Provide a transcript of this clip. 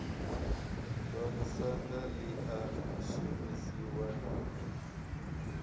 vhamusanda ḽi a shumisiwa na